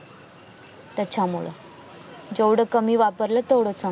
त्याच्या मूळ जेवढ कमी वापरलं तेवढाच